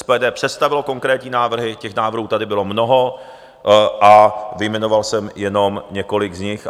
SPD představilo konkrétní návrhy, těch návrhů tady bylo mnoho a vyjmenoval jsem jenom několik z nich.